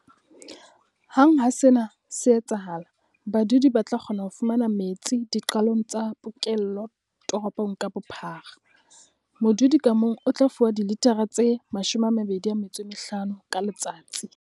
Hang ha sena se etsahala, badudi ba tla kgona ho fumana metsi diqalong tsa pokello toropong ka bophara. Modudi ka mong o tla fuwa dilithara tse 25 ka letsatsi.